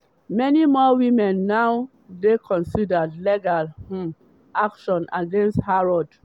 many more women now dey consider legal um action against harrods.